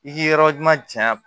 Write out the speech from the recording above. I k'i yɔrɔ ɲuman cɛya